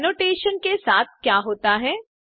पहले एनोटेशन के साथ क्या होता है